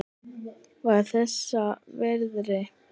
Var þess virði!